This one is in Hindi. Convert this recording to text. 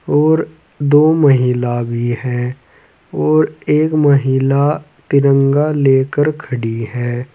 और दो महिला भी हैं और एक महिला तिरंगा लेकर ख़डी है।